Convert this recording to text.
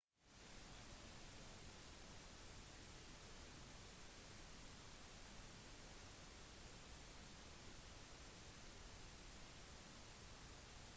i london var det omtrent 200 personer som protesterte utenfor kontorene til noen opphavsrettsinnehavere